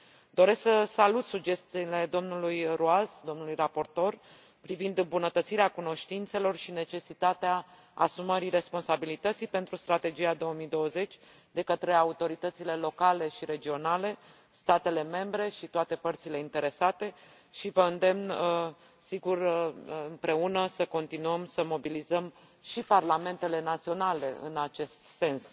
Doresc să salut sugestiile domnului Ruas, domnului raportor, privind îmbunătățirea cunoștințelor și necesitatea asumării responsabilității pentru Strategia 2020 de către autoritățile locale și regionale, statele membre și toate părțile interesate și vă îndemn, sigur, împreună, să continuăm să mobilizăm și parlamentele naționale în acest sens.